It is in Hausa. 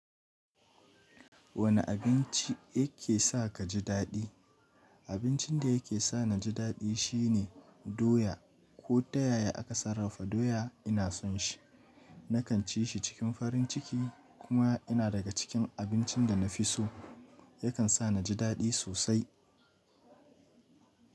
Wane abinci yake sa ka ji daɗi? Abincin da yake sa ni ji daɗi shine doya ko tayaye aka sarrafa doya ina son shi. Nakan ci shi cikin farin ciki kuma yana daga cikin abincin da na fi so. Yakan sa ni ji daɗi sosai.